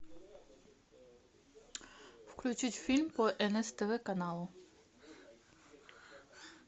включить фильм по нств каналу